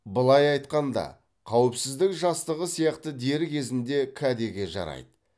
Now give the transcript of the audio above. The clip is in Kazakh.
былай айтқанда қауіпсіздік жастығы сияқты дер кезінде кәдеге жарайды